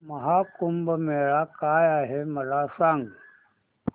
महा कुंभ मेळा काय आहे मला सांग